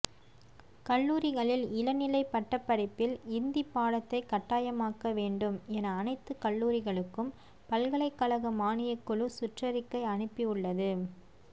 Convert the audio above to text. கல்லூரிளில் இளநிலை பட்டப்படிப்பில் இந்தி பாடத்தை கட்டாயமாக்க வேண்டும் என அனைத்து கல்லூரிகளுக்கும் பல்கலைக்கழக மானியக்குழு சுற்றறிக்கை அனுப்பி உள்ளது